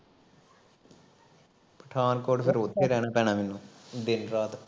ਪਠਾਨਕੋਟ ਫੇਰ ਉੱਥੇ ਰਹਿਣਾ ਪੈਣਾ ਮੈਨੂੰ ਦਿਨ ਰਾਤ